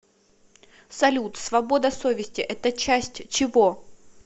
салют свобода совести это часть чего